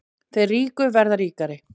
Þeir ríku verða ríkari